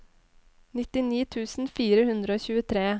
nittini tusen fire hundre og tjuetre